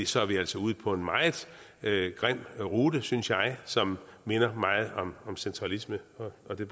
så er vi altså ude på en meget grim rute synes jeg som minder meget om centralisme og det